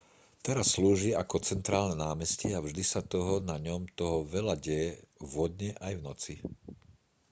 teraz slúži ako centrálne námestie a vždy sa toho na ňom toho veľa deje vo dne aj v noci